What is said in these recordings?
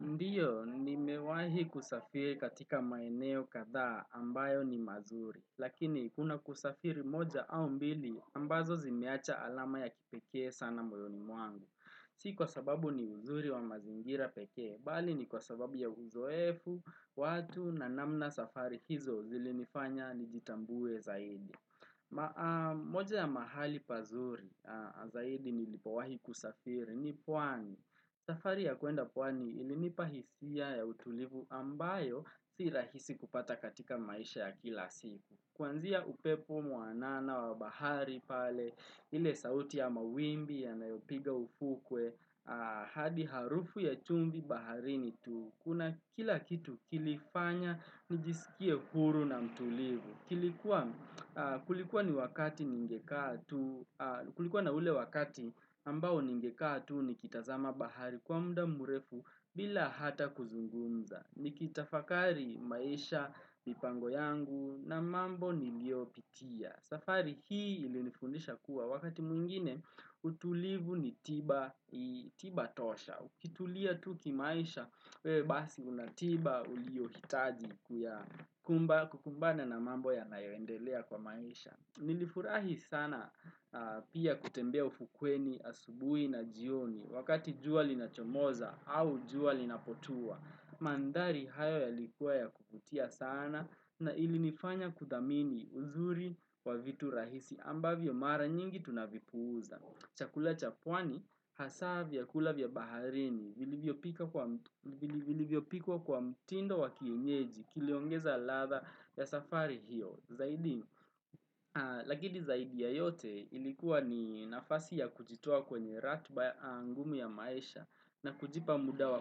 Ndiyo, nimewahi kusafiri katika maeneo katha ambayo ni mazuri. Lakini, kuna kusafiri moja au mbili, ambazo zimeacha alama ya kipeke sana mojoni mwangu. Siku kwa sababu ni uzuri wa mazingira peke, bali ni kwa sababu ya uzoefu, watu na namna safari hizo zilinifanya nijitambuwe zaidi. Moja ya mahali pazuri zaidi nilipowahi kusafiri ni puani. Safari ya kuenda pwani ilinipa hisia ya utulivu ambayo si rahisi kupata katika maisha ya kila siku. Kunzia upepo muanana wa bahari pale, ile sauti ya mawimbi ya mayopiga ufukwe, hadi harufu ya chumbi bahari nitu. Kuna kila kitu kilifanya nijisikie huru na mtulivu. Kulikuwa na ule wakati ambao ningeka tu ni kitazama bahari kwa mda murefu bila hata kuzungunza. Nikitafakari maisha, mipango yangu na mambo nilioitia. Safari hii ili nifundisha kuwa wakati mwngine utulivu ni tiba tosha. Ukitulia tu kimaisha, wewe basi unatiba ulio hitaji kukumbana na mambo ya nayoendelea kwa maisha. Nilifurahi sana pia kutembea ufukweni asubui na jioni. Wakati jua linapochomoza au juali na potua, mandari hayo ya likuwa ya kukutia sana na ilinifanya kudamini uzuri wa vitu rahisi ambavyo mara nyingi tunavipuza. Chakula cha pwani hasa vya kulavya baharini, vilivyopikwa kwa mtindo wakienyeji, kiliongeza latha ya safari hiyo, zaidi. Lakini zaidi ya yote ilikuwa ni nafasi ya kujitoa kwenye ratiba angumu ya maisha na kujipa muda wa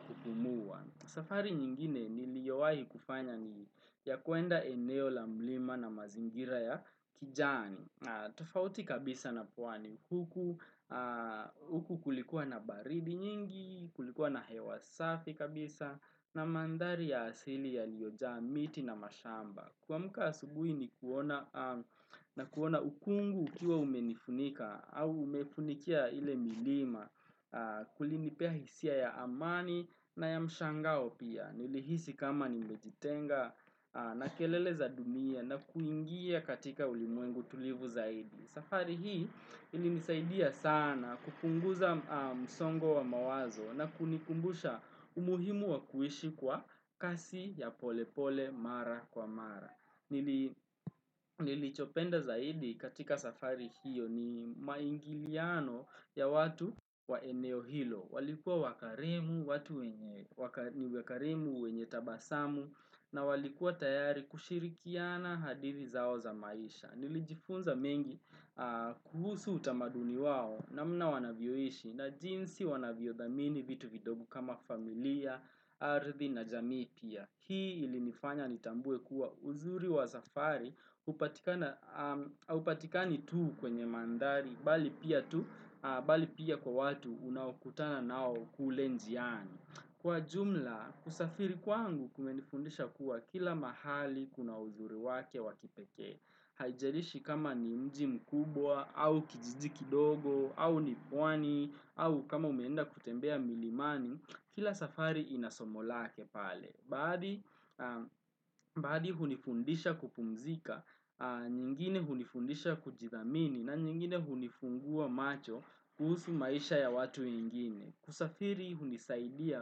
kupumua. Safari nyingine niliyowahi kufanya ni ya kuenda eneo la mlima na mazingira ya kijani. Tafauti kabisa na pwani huku kulikuwa na baridi nyingi, kulikuwa na hewasafi kabisa na mandari ya asili ya liojaa miti na mashamba. Kuamuka asugui ni kuona ukungu ukiwa umenifunika au umefunikia ile milima kulinipea hisia ya amani na ya mshangao pia. Nilihisi kama nimejitenga na kelele za dunia na kuingia katika ulimwengu tulivu zaidi. Safari hii ili nisaidia sana kupunguza msongo wa mawazo na kunikumbusha umuhimu wa kuhishi kwa kasi ya pole pole mara kwa mara. Nilichopenda zaidi katika safari hiyo ni maingiliano ya watu wa eneo hilo. Walikuwa wakarimu, watu ni wakarimu wenye tabasamu na walikuwa tayari kushirikiana hadiri zao za maisha. Nilijifunza mengi kuhusu utamaduni wao namna wanavyoishi na jinsi wanavyodhamini vitu vidogo kama familia, ardhi na jamii pia. Hii ili nifanya nitambue kuwa uzuri wa safari upatikani tu kwenye mandari bali pia tu, bali pia kwa watu unawakutana nao kule njiani. Kwa jumla, kusafiri kwangu kumenifundisha kuwa kila mahali kuna ujuri wake wakipeke, haijarishi kama ni mji mkubwa, au kijiji kidogo, au nipwani, au kama umeenda kutembea milimani, kila safari inasomo lake pale. Baadi hunifundisha kupumzika, nyingine hunifundisha kujidhamini na nyingine hunifungua macho kuhusu maisha ya watu nyingine. Kusafiri hunisaidia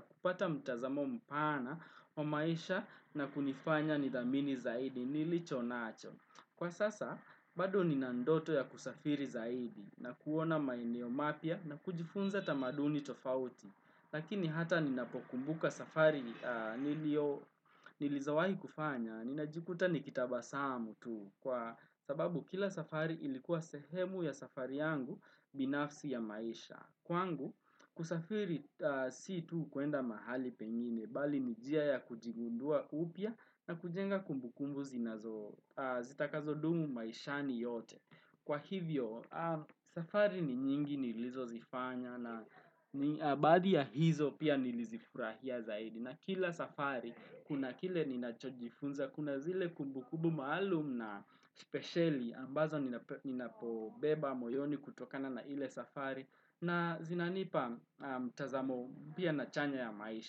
kupata mtazamo mpana wa maisha na kunifanya nidhamini zaidi nilicho nacho. Kwa sasa, bado nina ndoto ya kusafiri zaidi na kuona maineo mapia na kujifunza tamaduni tofauti. Lakini hata ninapokumbuka safari nilizo wahikufanya, ninajikuta ni kitabasamu tu, kwa sababu kila safari ilikuwa sehemu ya safari yangu binafsi ya maisha. Kwangu, kusafiri si tu kuenda mahali pengine, bali nijia ya kujigundua upya na kujenga kumbukumbu zitakazo dumu maisha ni yote. Kwa hivyo, safari ni nyingi nilizozifanya na abadi ya hizo pia nilizifurahia zaidi. Na kila safari, kuna kile ninachojifunza, kuna zile kumbukubu maalum na speciali ambazo ninapobeba, moyoni kutokana na ile safari na zinanipa tazamo pia na chanya ya maisha.